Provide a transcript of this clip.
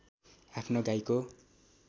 आफ्नो गाईको